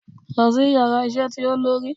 Lọ si íyarà isé tí olori!